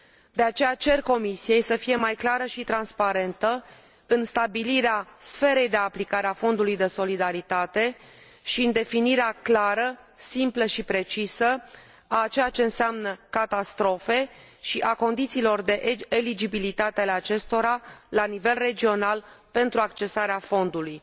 De aceea, cer Comisiei să fie mai clară și transparentă în stabilirea sferei de aplicare a Fondului de Solidaritate și în definirea clară, simplă și precisă a ceea ce înseamnă catastrofe și a condițiilor de eligibilitate ale acestora la nivel regional, pentru accesarea fondului.